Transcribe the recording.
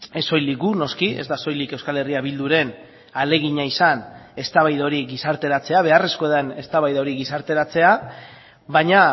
ez soilik gu noski ez da soilik euskal herria bilduren ahalegina izan eztabaida hori gizarteratzea beharrezkoa den eztabaida hori gizarteratzea baina